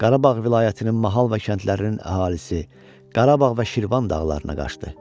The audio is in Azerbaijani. Qarabağ vilayətinin mahal və kəndlərinin əhalisi Qarabağ və Şirvan dağlarına qaçdı.